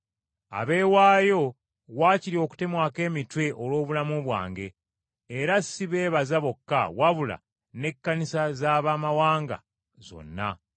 abeewaayo wakiri okutemwako emitwe olw’obulamu bwange, era si beebaza bokka wabula n’Ekkanisa z’Abamawanga zonna.